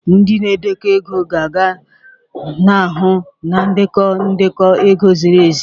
Ndị na-edekọ ego ga-ahụ na ndekọ ndekọ ego ziri ezi.